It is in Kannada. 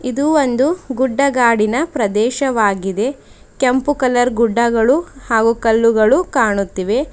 ಇದು ಒಂದು ಗುಡ್ಡಗಾಡಿನ ಪ್ರದೇಶವಾಗಿದೆ ಕೆಂಪು ಕಲರ್ ಗುಡ್ಡಗಳು ಹಾಗು ಕಲ್ಲುಗಳು ಕಾಣುತ್ತಿವೆ.